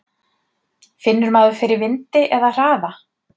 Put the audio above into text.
Finnur maður fyrir vindi eða hraða?